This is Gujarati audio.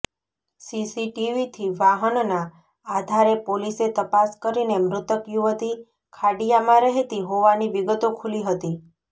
સીસીટીવીથી વાહનના આધારે પોલીસે તપાસ કરીને મૃતક યુવતી ખાડિયામાં રહેતી હોવાની વિગતો ખુલી હતી